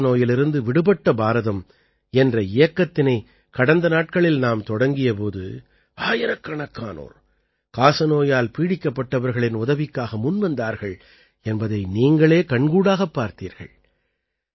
காசநோயிலிருந்து விடுபட்ட பாரதம் என்ற இயக்கத்தினை கடந்த நாட்களில் நாம் தொடங்கிய போது ஆயிரக்கணக்கானோர் காசநோயால் பீடிக்கப்பட்டவர்களின் உதவிக்காக முன்வந்தார்கள் என்பதை நீங்களே கண்கூடாகப் பார்த்தீர்கள்